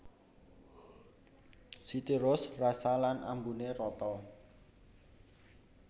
City Roast rasa lan ambuné rata